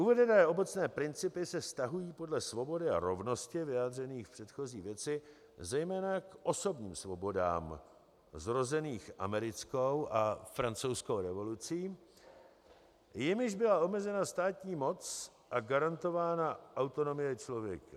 Uvedené obecné principy se vztahují podle svobody a rovnosti vyjádřených v předchozí věci zejména k osobním svobodám zrozeným americkou a francouzskou revolucí, jimiž byla omezena státní moc a garantována autonomie člověka.